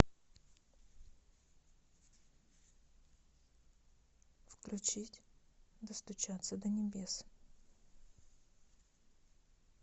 включить достучаться до небес